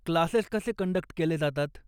Classes कसे conduct केले जातात?